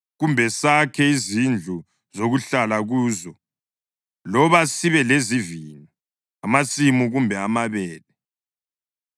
kumbe sakhe izindlu zokuhlala kuzo loba sibe lezivini, amasimu kumbe amabele.